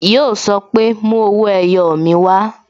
Yo sọ pé "Mú owó ẹyọ mi wá"